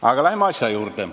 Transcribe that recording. Aga läheme asja juurde.